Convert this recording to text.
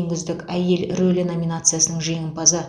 ең үздік әйел рөлі номинациясының жеңімпазы